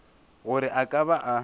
gore a ka ba a